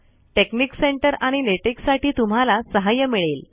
technique center आणि LaTeX साठी तुम्हाला सहाय्य मिळेल